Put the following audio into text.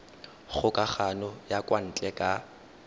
kgokagano ya kwa ntle ka